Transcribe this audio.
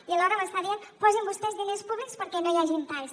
i alhora m’està dient posin vostès diners públics perquè no hi hagin talls